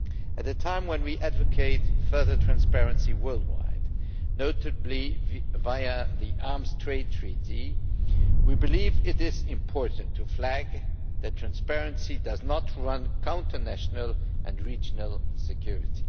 At a time when we advocate further transparency worldwide, notably via the arms trade treaty, we believe it is important to flag that transparency does not run counter to national and regional security.